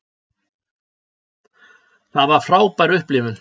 Það var frábær upplifun.